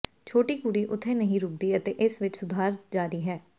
ਛੋਟੀ ਕੁੜੀ ਉੱਥੇ ਨਹੀਂ ਰੁਕਦੀ ਅਤੇ ਇਸ ਵਿਚ ਸੁਧਾਰ ਜਾਰੀ ਹੈ